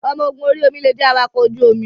Ọmọ ogun orí omi lè jẹ́ awakọ̀ ojú omi.